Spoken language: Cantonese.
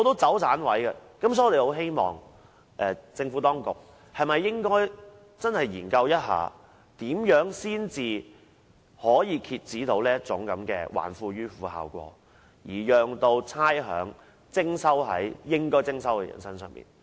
所以，我們希望政府當局能認真研究，如何才能遏止這種"還富於富"的效果，向應課差餉的人士徵收差餉。